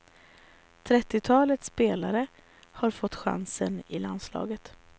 Trettiotalet spelare har fått chansen i landslaget.